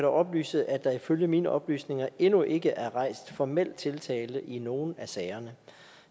oplyse at der ifølge mine oplysninger endnu ikke er rejst formel tiltale i nogen af sagerne